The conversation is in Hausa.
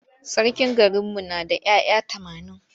Sarkin garinmu na da ‘ya’ya tamanin.